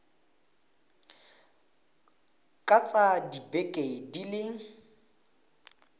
ka tsaya dibeke di le